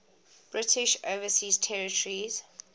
british overseas territories